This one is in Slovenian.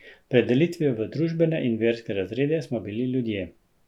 Pred delitvijo v družbene in verske razrede, smo bili ljudje.